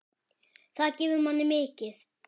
Það gefur manni mikið.